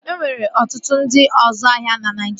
E nwere ọtụtụ ndị ọzu ahịa na Naijiria